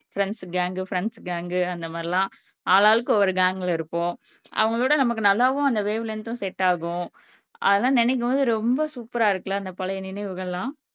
friends gang friends gang அந்த மாறி எல்லாம் ஆளாளுக்கு ஒவ்வொரு கேங்க்ல இருப்போம் அவங்களோட நமக்கு நல்லாவும் அந்த வேவ் லென்த் உம் செட் ஆகும் அதலாம் நினைக்கும் போது ரொம்ப சூப்பரா இருக்குல அந்த பழைய நினைவுகள் எல்லாம்